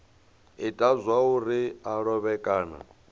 ita zwauri a lovhe kana